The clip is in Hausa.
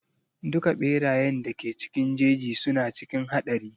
Duka ɓerayen da ke cikin jeji suna cikin haɗari.